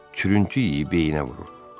Çürüyü yeyib beynə vurur.